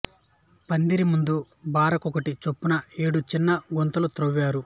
పందిరి ముందు బార కొక్కటి చొప్పున ఏడు చిన్న గుంతలు త్రవ్వారు